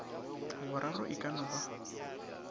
boraro e ka no ba